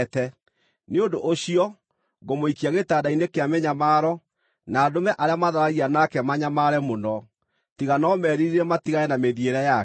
Nĩ ũndũ ũcio ngũmũikia gĩtanda-inĩ kĩa mĩnyamaro, na ndũme arĩa matharagia nake manyamare mũno, tiga no meririre matigane na mĩthiĩre yake.